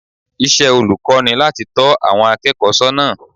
Iṣẹ́ olùkọ́ ni láti tọ́ àwọn akẹ́kọ̀ọ́ sọ́nà